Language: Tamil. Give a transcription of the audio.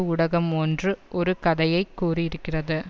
ஊடகம் ஒன்று ஒரு கதையை கூறி இருக்கிறது